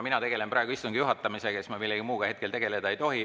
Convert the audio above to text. Mina tegelen praegu istungi juhatamisega, ma millegi muuga hetkel tegeleda ei tohi.